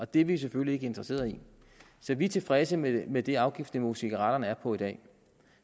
det er vi selvfølgelig ikke interesseret i så vi er tilfredse med med det afgiftsniveau som cigaretterne er på i dag